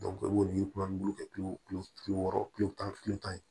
i b'olu kɛ kilo kilo bi wɔɔrɔ kile tan kile tan ye